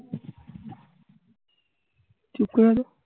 চুপ করে আছো